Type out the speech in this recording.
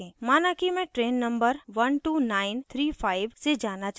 माना कि मैं train number 12935 से जाना चाहती हूँ